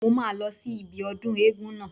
Mo máa lọ sí ibi ọdún eégún náà